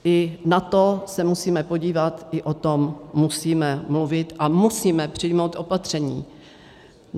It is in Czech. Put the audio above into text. I na to se musíme podívat, i o tom musíme mluvit a musíme přijmout opatření.